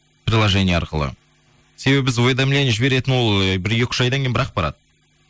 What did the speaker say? приложение арқылы себебі біз уведомление жіберетін ол ы бір екі үш айдан кейін бір ақ барады